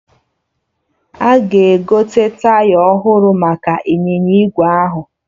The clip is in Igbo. Ada ga-egote taya ọhụrụ maka ịnyịnya ígwè ahụ